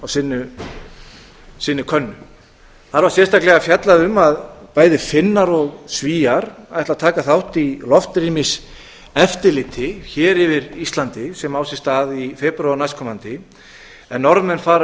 sinni könnu þar var sérstaklega fjallað um að bæði finnar og svíar ætla að taka þátt í loftrýmiseftirliti hér yfir íslandi sem á sér stað í febrúar næstkomandi en norðmenn fara